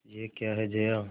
यह क्या है जया